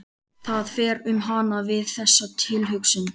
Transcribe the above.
Það fer um hana við þessa tilhugsun.